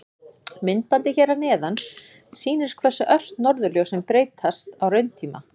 Myndbandið hér að neðan sýnir hversu ört norðurljósin breytast á rauntíma.